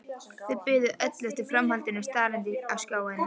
Þau biðu öll eftir framhaldinu starandi á skjáinn.